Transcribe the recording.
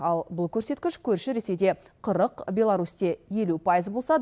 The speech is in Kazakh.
ал бұл көрсеткіш көрші ресейде қырық беларусьте елу пайыз болса